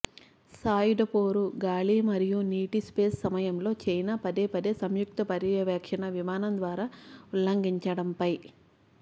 సాయుధ పోరు గాలి మరియు నీటి స్పేస్ సమయంలో చైనా పదేపదే సంయుక్త పర్యవేక్షణ విమానం ద్వారా ఉల్లంఘించడంపై